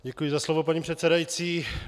Děkuji za slovo, paní předsedající.